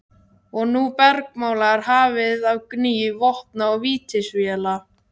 Og nú bergmálar hafið af gný vopna og vítisvéla.